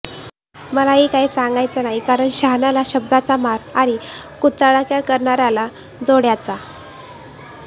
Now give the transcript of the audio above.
मला ही काय सांगायचे नाही आता कारण शहाण्याला शब्दाचा मार आणि कुचाळक्या करणार्याला जोड्याचा